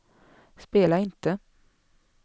spela inte